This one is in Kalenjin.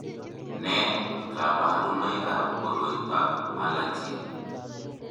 Nee kabarunoikab koroitoab Alagille?